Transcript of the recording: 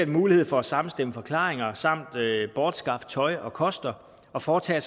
mulighed for at samstemme forklaringer samt bortskaffe tøj og koster og foretage